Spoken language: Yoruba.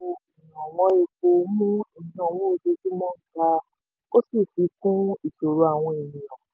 yíyọ owó ìrànwọ́ epo mú ìnáwó ojoojúmọ́ ga ó sì fi kún ìṣòro àwọn ènìyàn.